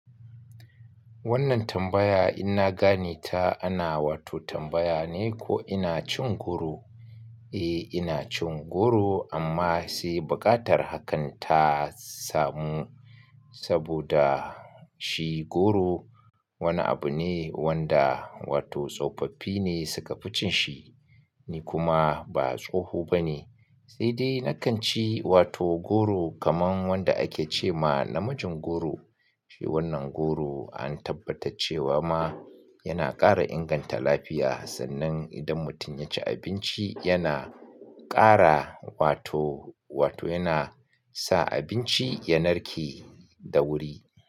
Wannan tambaya in na gane ta ana wato tambaya ne ko ina cin goro? Eh ina cin goro amma sai buƙatar hakan ta samu saboda shi goro wani abu ne wanda wato tsofaffi ne suka fi cin shi. Ni kuma ba tsoho ba ne. Sai dai na kan ci wato goro kaman wanda ake ce ma namijin goro. Wannan goro an tabbatar cewa ma yana ƙara inganta lafiya sannan idan mutum ya ci abinci yana ƙara wato, wato yana sa abinci ya narke da wuri.